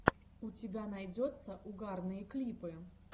у тебя найдется угарные клипы